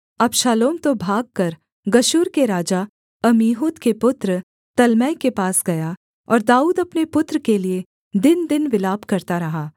अबशालोम तो भागकर गशूर के राजा अम्मीहूद के पुत्र तल्मै के पास गया और दाऊद अपने पुत्र के लिये दिनदिन विलाप करता रहा